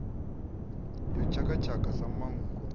ya tshaka tshaka sa manngo